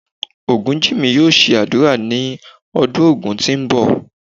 Ogunjinmi yóò ṣe ádùrá ní ọdún Ògun tí ń bọ̀.